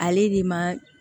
Ale ni ma